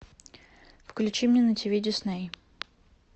включи мне на тиви дисней